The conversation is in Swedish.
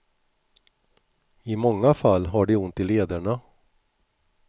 I många fall har de ont i lederna.